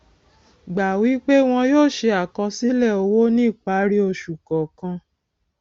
gbà wí pé wọn yóò ṣe àkọsílẹ owó ní ìparí oṣù kọọkan